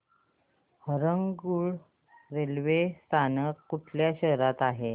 Harangul railway स्थानक कोणत्या शहरात आहे